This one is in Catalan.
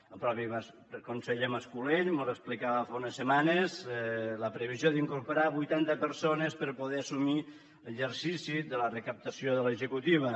el mateix conseller mas colell mos explicava fa unes setmanes la previsió d’incorporar vuitanta persones per poder assumir l’exercici de la recaptació de l’executiva